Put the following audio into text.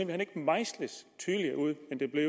hen ikke mejsles tydeligere ud